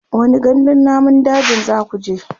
wani gandun namun dajin zakuje?